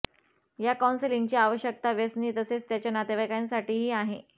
या कौन्सलिंगची आवश्यकता व्यसनी तसेच त्याच्या नातेवाईकांसाठीही आहे